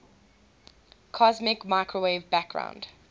cosmic microwave background